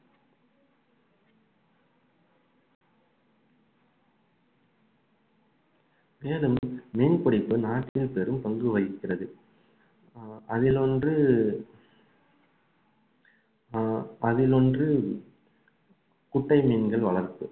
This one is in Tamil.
மேலும் மீன்பிடிப்பு நாட்டில் பெரும்பங்கு வகிக்கிறது அதில் ஒன்று ஆஹ் அதில் ஒன்று குட்டை மீன்கள் வளர்ப்பு